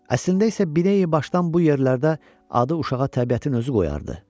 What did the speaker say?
Əslində isə binəyi başdan bu yerlərdə adı uşağa təbiətin özü qoyardı.